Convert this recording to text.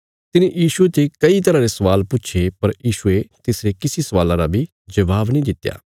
तिने यीशुये ते कई तरह रे स्वाल पुछे पर यीशुये तिसरे किसी स्वाला रा बी जबाब नीं दित्या